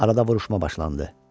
Arada vuruşma başlandı.